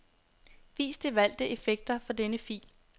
Vis de valgte effekter for denne fil.